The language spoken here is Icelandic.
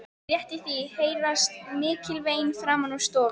Rétt í því heyrast mikil vein framan úr stofu.